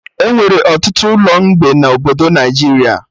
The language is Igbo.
Enwere ọtụtụ ụlọ mgbe na obodo Naijiria